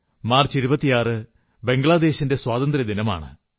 March 26 ബംഗ്ളാദേശിന്റെ സ്വാതന്ത്ര്യദിനമാണ്